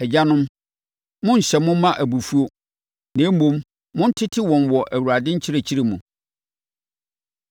Agyanom, monnhyɛ mo mma abufuo. Na mmom, montete wɔn wɔ Awurade nkyerɛkyerɛ mu. Nkoa Ne Awuranom